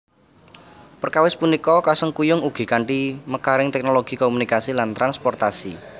Perkawis punika kasengkuyung ugi kanthi mekaring teknologi komunikasi lan transportasi